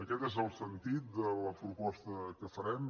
aquest és el sentit de la proposta que farem